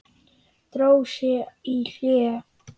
Dró sig í hlé.